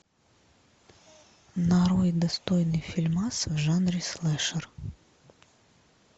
нарой достойный фильмас в жанре слэшер